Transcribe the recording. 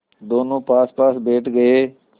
दोेनों पासपास बैठ गए